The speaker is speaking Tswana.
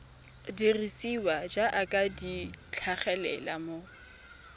dirisiwa jaaka di tlhagelela mo